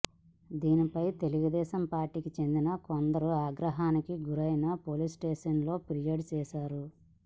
దీనిపై తెలుగుదేశం పార్టీకి చెందిన కొందరు ఆగ్రహానికి గురై పోలీసుస్టేషన్లో ఫిర్యాదు చేశారు